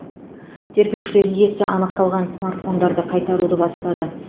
тергеушілер иесі анықталған смартфондарды қайтаруды бастады